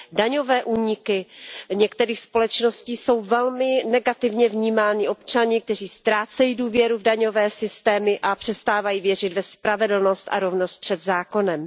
Daňové úniky některých společností jsou velmi negativně vnímány občany, kteří ztrácejí důvěru v daňové systémy a přestávají věřit ve spravedlnost a rovnost před zákonem.